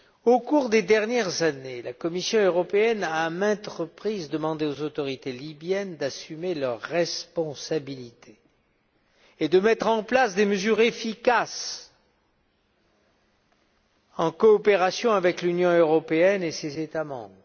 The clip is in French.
Au cours des dernières années, la Commission européenne a demandé à maintes reprises aux autorités libyennes d'assumer leurs responsabilités et de mettre en place des mesures efficaces, en coopération avec l'Union européenne et ses États membres.